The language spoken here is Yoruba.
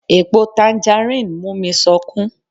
Èpo tanjarín mú mi sọkún